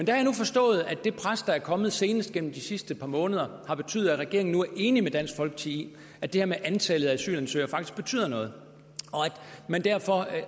jeg nu forstået at det pres der er kommet senest gennem de sidste par måneder har betydet at regeringen nu er enig med dansk folkeparti i at det her med antallet af asylansøgere faktisk betyder noget